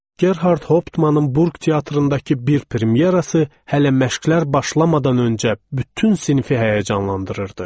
Gerhart Hauptmanın Burq teatrındakı bir premyerası hələ məşqlər başlamadan öncə bütün sinifi həyəcanlandırırdı.